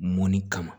Mɔnni kama